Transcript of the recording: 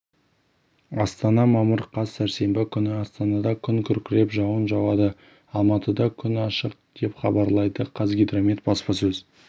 астана мамыр қаз сәрсенбі күні астанада күн кіүркіреп жауын жауады алматыда күн ашық депхабарлайды қазгидромет баспасөз